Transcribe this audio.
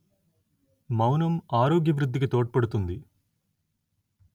మౌనం ఆరోగ్య వృద్ధికి తోడ్పడుతుంది